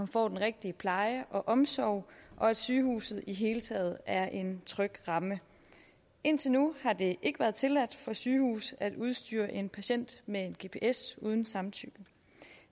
får den rigtige pleje og omsorg og at sygehuset i det hele taget er en tryg ramme indtil nu har det ikke været tilladt for sygehuse at udstyre en patient med en gps uden samtykke